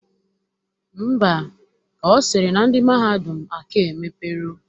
Ḿbà, Ọ sịrị na ndị mahadum aka emepero